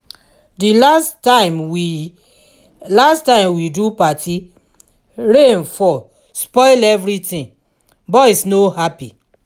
di last time we last time we do party rain fall spoil everything boys no happy